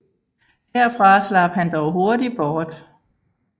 Herfra slap han dog hurtig bort